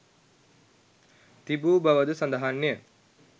තිබූ බවද සඳහන්ය.